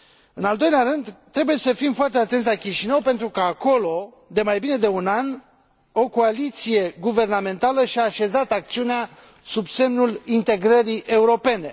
În al doilea rând, trebuie să fim foarte atenți la Chișinău pentru că acolo, de mai bine de un an, o coaliție guvernamentală și a așezat acțiunea sub semnul integrării europene.